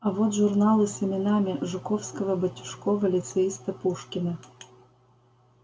а вот журналы с именами жуковского батюшкова лицеиста пушкина